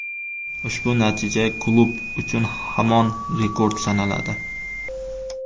Ushbu natija klub uchun hamon rekord sanaladi.